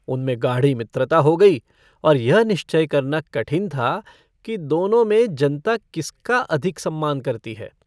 उनमें गाढ़ी मित्रता हो गई और यह निश्चय करना कठिन था कि दोनों में जनता किसका अधिक सम्मान करती है।